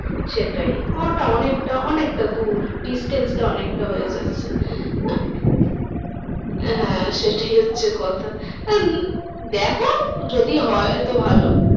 সেটাই ওটা অনেকটা অনেকটা দূর distance টা অনেকটা হ্যাঁ সেটাই হচ্ছে কথা। আহ দেখো যদি হয় তো ভালো